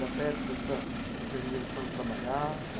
Era perto dessa empresa onde eles foram trabalhar?